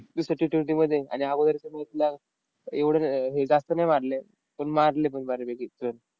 दुसऱ्या Ttwenty मध्ये आणि अगोदरच्या match ला एवढं हे जास्त नाही मारले. पण मारले पण बऱ्यापैकी run.